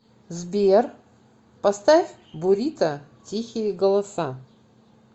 сбер поставь бурито тихие голоса